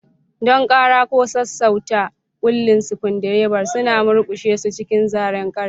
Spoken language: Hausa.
Don ƙara ko sassauta kulli, screwdrivers suna murƙushe su cikin zaren ƙarfe.